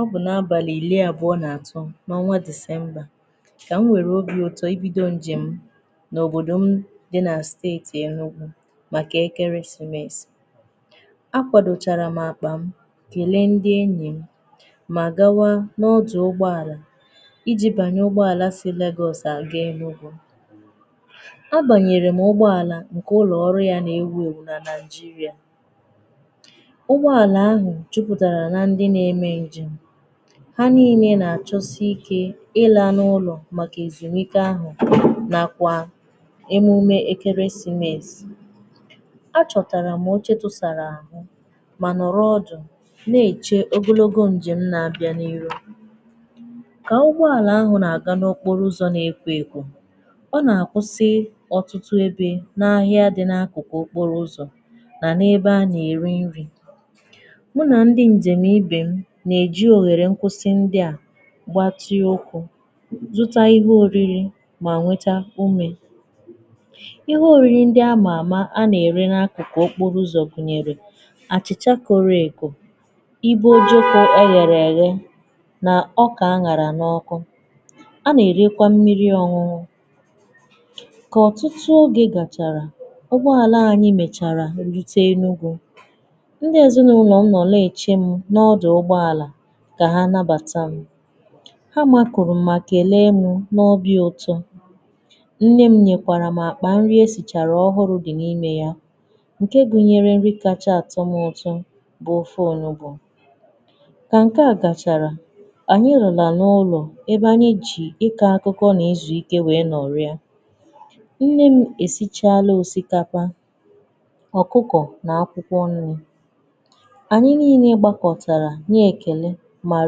Ọ bụ̀ n’abalị̀ iri abụọ̀ nà atọ̀ n’ọnwà December ka m nwerè obi ụtọ̀ ibidò nje m n’òbodò m dị̀ na stetì Enugwù màkà ekeresìmesì akwàdòchàrà m àkpà m kelè ndị̀ enyị m mà gawà n’ọdụ̀ ụgbọàlà ijì banyè ụgbọàlà si Lagos agà Enugwù a bànyerè m ụgbọàlà nke ụlọ̀ ọrụ̀ yà na-ewùewù nà Nàijirià ụgbọàlà ahụ̀ jụpụ̀tarà nà ndị na-eme njem ha nine na-achọ̀sị̀ ike ịlà n’ụlọ̀ màkà èzùmùike ahụ̀ nàkwà emùmè ekeresìmesì a chọ̀tarà m occhē tụ̀sàrà ahụ̀ mà nọ̀rọ̀ ọdụ̀ na-echè ogologo njem na-abịà n’irù kà ụgbọàlà ahụ̀ na-agà n’okporo ụzọ̀ na-ekwò ekwò ọtụtụ ebe n’ahịà dị̀ n’akụ̀kụ̀ okporo ụzọ̀ manà ebe a na-eri nrì mụ̀ nà ndị njem ibe m na-eje ohèrè nkwụ̀sị̀ ndị à gbatịè ụkwụ̀ zụtà ihe oriri mà nwetà umè ihe oriri ndị amà amà a na-erè n’akụ̀kụ̀ okporo ụzọ̀ gụ̀nyerè achị̀chà korò ekò ibè ojukwụ̀ eghèrè eghè nà ọkà an̄àrà n’ọkụ̀ a na-erekwà mmiri ọn̄ụn̄ụ̀ kà ọtụtụ ogè gacharà ụgbọàlà anyị mechàrà rutè Enugwù ndị ezìnàụlọ̀ m nọ̀ na-eche m n’ọdụ̀ ụgbọàlà kà hà nabàtà m ha makwurù m kelè m n’obi ụtọ̀ nne m nyekwàrà m àkpà nrì e sicharà ọhụrụ̀ dị̀ n’imè yà nkè gụ̀nyerè nrì kachà atọ̀ m ụtọ̀ bụ̀ ofè onugbù kà nke à gacharà anyị̀ rụnà n’ụlọ̀ ebe anyị̀ jị̀ ịkọ̀ akụ̀kọ na-ezu ike wee nọ̀rịà nne m e sichalà òsìkapà ọ̀kụkọ̀ nà akwụ̀kwọ̀ nrì anyị̀ niine gbàkọ̀tarà na-ekèlè mà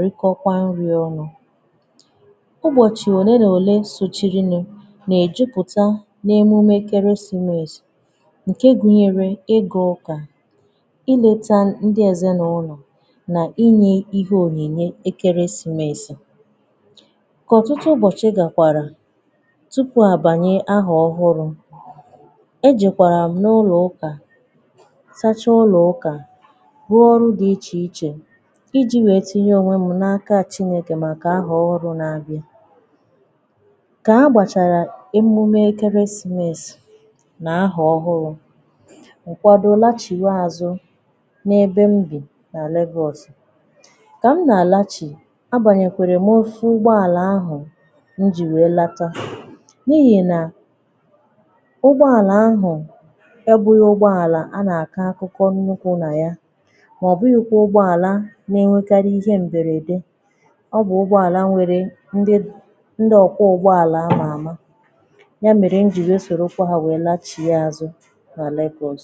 rikọkwà nrì ọnụ̀ ụbọ̀chị̀ olè nà olè sochirinù na-ejùputà n’emumè ekerèsìmesì nkè gụ̀nyerè ị gà ụkà iletà ndị ezìnàụlọ̀ nà inyè ihe ònyìnyè ekerèsìmesì kà ọtụtụ ụbọchị̀ gakwàrà tupu àbànyè ahà ọhụrụ̀ e jekwarà m n’ụlọ̀ ụkà sachà ụlọ̀ ụkà rụọ̀ ọrụ̀ dị̀ iche ichè ijì wee tinyè onwè m n’akà Chinekè màkà ahà ọhụrụ̀ na-abịà kà agbàcharà emumè ekerèsìmesì nà ahà ọhụrụ̀ ụfọdụ̀ lachià àzụ̀ n’ebe m bì nà Lagos kà m na-alachì a banyèkwarà m ofù ụgbọàlà ahụ̀ mụ̀ jì wee latà n’ihì nà ụgbọàlà ahụ̀ ebē ụgbọàlà a na-akọ̀ akụkọ̀ nnukwù nà yà mà ọbụghị̀kwà ụgbọàlà na-enwekàrì ihe mberèdè ọ bụ̀ ụgbọàlà nwerè ndị ndị òkpụ̀ ụgbọàlà amà amà yà merè m jì wee sorokwà hà wee lachịà àzụ̀ nà Lagos